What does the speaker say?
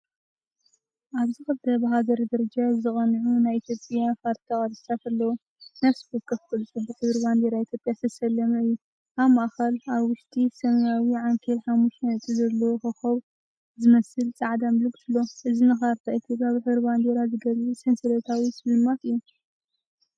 ኣብዚ ክልተ ብሃገር ደረጃ ዝቐንዑ ናይ ኢትዮጵያ ካርታ ቅርጽታት ኣለዉ። ነፍሲ ወከፍ ቅርጺ ብሕብሪ ባንዴራ ኢትዮጵያዝተሰለመ እዩ። ኣብ ማእከል ኣብ ውሽጢ ሰማያዊ ዓንኬልሓሙሽተ ነጥቢ ዘለዎ ኮኾብ ዝመስል ጻዕዳ ምልክት ኣሎ። እዚ ንካርታ ኢትዮጵያ ብሕብሪ ባንዴራ ዝገልጽ ሰንሰለታዊ ስልማትእዩ።